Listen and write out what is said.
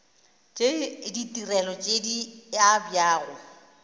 tša ditirelo tše di abjago